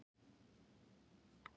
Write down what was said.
Einungis hluti af því er varðveittur.